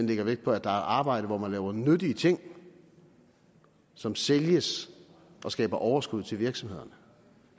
lægger vægt på at der er arbejde hvor man laver nyttige ting som sælges og skaber overskud til virksomhederne